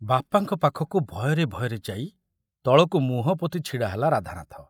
ବାପାଙ୍କ ପାଖକୁ ଭୟରେ ଭୟରେ ଯାଇ ତଳକୁ ମୁହଁ ପୋତି ଛିଡ଼ା ହେଲା ରାଧାନାଥ।